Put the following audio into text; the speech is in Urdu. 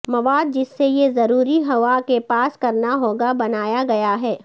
مواد جس سے یہ ضروری ہوا کے پاس کرنا ہوگا بنایا گیا ہے